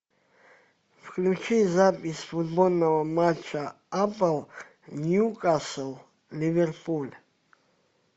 включи запись футбольного матча апл ньюкасл ливерпуль